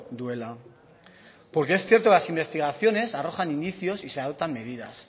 duela porque es cierto que las investigaciones arrojan indicios y se adoptan medidas